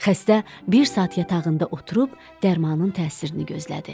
Xəstə bir saat yatağında oturub dərmanın təsirini gözlədi.